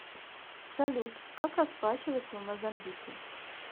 салют как расплачиваться в мозамбике